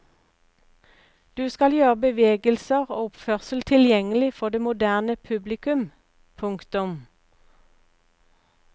Du skal gjøre bevegelser og oppførsel tilgjengelig for det moderne publikum. punktum